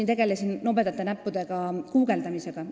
Ma tegelesin nobedate näppude abil guugeldamisega.